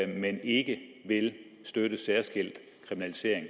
men ikke vil støtte særskilt kriminalisering